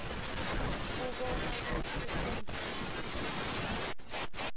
kubona kutsi uphendvula